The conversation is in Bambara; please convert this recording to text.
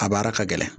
A baara ka gɛlɛn